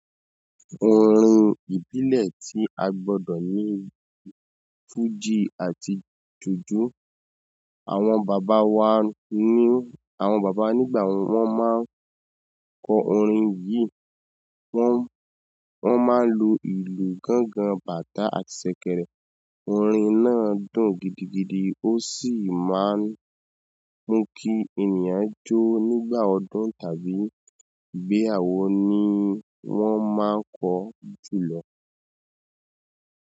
Orin ìbílẹ̀ tí a gbọ́dọ̀ ní fújì àti jùjú. Àwọn bàbá wa ni, àwọn bàbá nígbà wọ́n máa ń kọ orin yìí, wọ́n, wọ́n máa ń lu ìlù gángan, bàtà àti ṣẹ̀kẹ̀rẹ̀. Orin náà dùn gidigidi, ó sì máa ń mú kí ènìyàn jó nígbà ọdún tàbí ìgbéyàwó ni wọ́n máa ń kọ jùlọ.